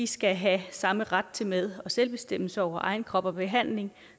skal have samme ret til med og selvbestemmelse over egen krop og behandling